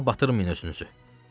Günaha batırmayın özünüzü.